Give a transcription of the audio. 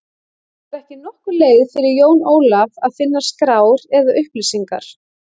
Það var ekki nokkur leið fyrir Jón Ólaf að finna skrár eða upplýsingar.